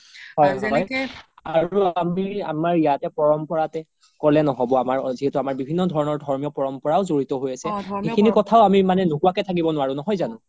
আৰু আমি আমাৰ ইয়াতে পৰম্পৰাতে ক্'লে নহ'ব আমাৰ যিহেতো আমাৰ বিভিন্ন ধৰণৰ ধৰ্মৰ ধৰ্মিয় পৰম্পৰাও জৰিত হয় আছে সিখিনি কথাও আমি মানে নোকোৱা কে থাকিব নুৱাৰো নহয় জানো ?